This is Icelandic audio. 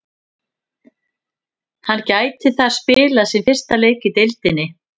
Hann gæti þar spilað sinn fyrsta leik í deildinni.